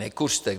Nekuřte.